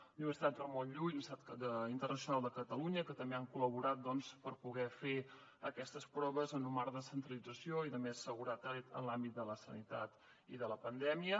la universitat ramon llull la universitat internacional de catalunya que també han col·laborat per poder fer aquestes proves en un marc de centralització i de més seguretat en l’àmbit de la sanitat i de la pandèmia